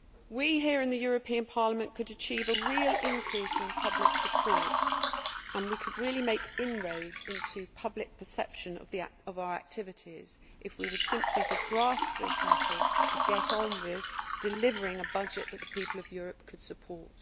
We here in the European Parliament could achieve a real increase in public support and we could really make inroads into public perception of our activities if we were simply to grasp this nettle and get on with delivering a budget that the people of Europe could support.